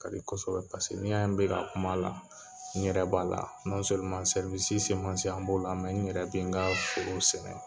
Ka di kosɛbɛ n'i y'a n bɛ ka kuma la, n ɲɛrɛ b'a la, an b'o la n ɲɛrɛ tɛ n ka foro sɛnɛ.